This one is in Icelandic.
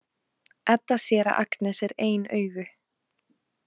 Edda sér að Agnes er ein augu.